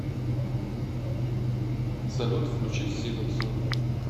салют включи синапсон